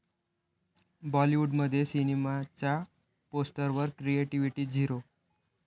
बॉलिवूडमध्ये सिनेमाच्या पोस्टरवर क्रिएटिव्हिटी 'झिरो'